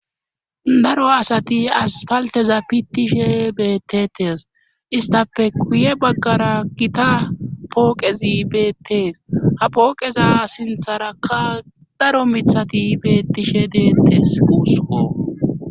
Daro asati aspalteza pittishe beettetes istafe kuye baggara gita pooqezi beettees ha pooqeza sintharakka daro mithati beettishe deettes guuso.